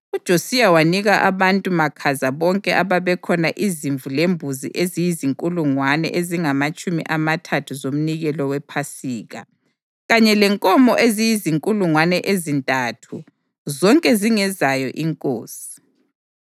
UJosiya wanika abantu makhaza bonke ababekhona izimvu lembuzi eziyizinkulungwane ezingamatshumi amathathu zomnikelo wePhasika, kanye lenkomo eziyizinkulungwane ezintathu, zonke zingezayo inkosi.